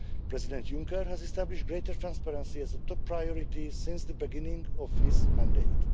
President Juncker has established greater transparency as a top priority since the beginning of his mandate.